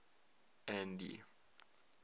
andy